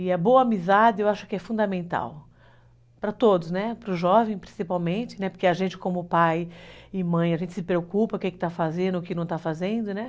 E a boa amizade eu acho que é fundamental para todos, né, para o jovem principalmente, né, porque a gente como pai e mãe, a gente se preocupa com o que está fazendo, o que não está fazendo, né.